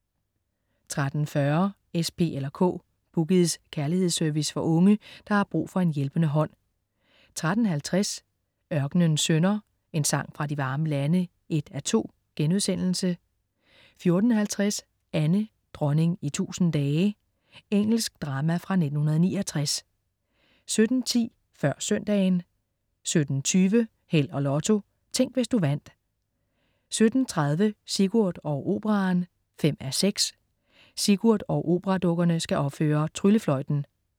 13.40 S, P eller K. "Boogies" kærlighedsservice for unge, der har brug for en hjælpende hånd 13.50 Ørkenens Sønner: En sang fra de varme lande 1:2* 14.50 Anne, dronning i tusind dage. Engelsk drama fra 1969 17.10 Før søndagen 17.20 Held og Lotto. Tænk, hvis du vandt 17.30 Sigurd og Operaen 5:6. Sigurd og operadukkerne skal opføre "Tryllefløjten"